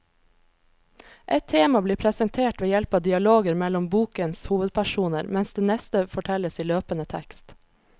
Ett tema blir presentert ved hjelp av dialoger mellom bokens hovedpersoner, mens det neste fortelles i løpende tekst.